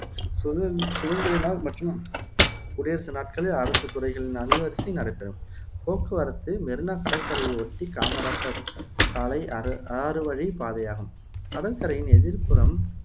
சுதந்த் சுதந்திர நாள் மற்றும் குடியரசு நாட்களில் அரசுத் துறைகளின் அணிவரிசை நடைபெறும் போக்குவரத்து மெரீனா கடற்கரையை ஒட்டிய காமராசர் சாலை அர ஆறுவழிப் பாதையாகும் கடற்கரையின் எதிர்புறம்